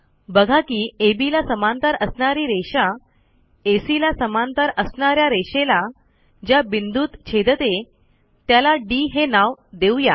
बघा की अब ला समांतर असणारी रेषा ACला समांतर असणा या रेषेला ज्या बिंदूत छेदते त्याला डी हे नाव देऊ या